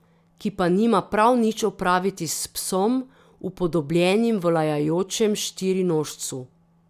Ki pa nima prav nič opraviti s psom, upodobljenim v lajajočem štirinožcu.